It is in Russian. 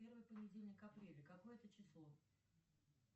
первый понедельник апреля какое это число